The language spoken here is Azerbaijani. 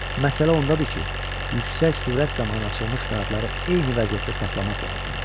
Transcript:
Məsələ ondadır ki, yüksək sürət zamanı açılmış qanadları eyni vəziyyətdə saxlamaq lazımdır.